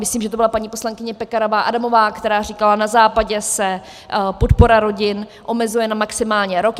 Myslím, že to byla paní poslankyně Pekarová Adamová, která říkala, na Západě se podpora rodin omezuje na maximálně rok.